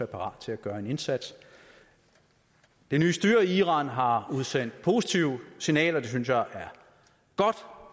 parat til at gøre en indsats det nye styre i iran har udsendt positive signaler det synes jeg